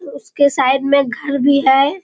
उसके साइड में घर भी है।